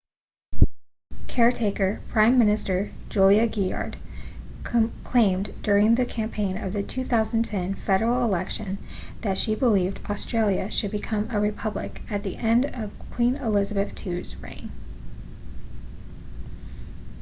caretaker prime minister julia gillard claimed during the campaign of the 2010 federal election that she believed australia should become a republic at the end of queen elizabeth ii's reign